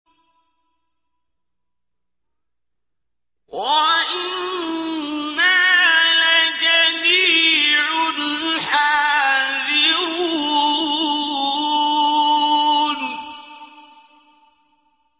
وَإِنَّا لَجَمِيعٌ حَاذِرُونَ